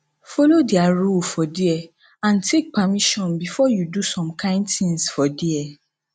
follow their rule for there and take permission before you do some kind things for there